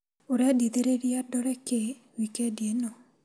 Urendithĩrĩria ndore kĩ wikendi ĩno ?